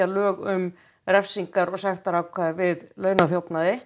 lög um refsingar og sektir við